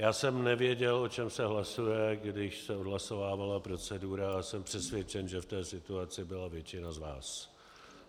Já jsem nevěděl, o čem se hlasuje, když se odhlasovávala procedura, a jsem přesvědčen, že v té situaci byla většina z vás.